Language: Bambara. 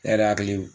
Ne yɛrɛ hakili